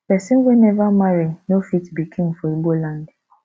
pesin wey never marry no fit be king for igbo land